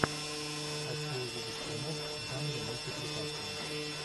хочу увидеть фильмок в жанре мультипликация